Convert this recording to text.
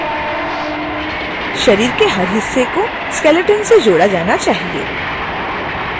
शरीर के हर हिस्से को skeleton से जोड़ा जाना चाहिए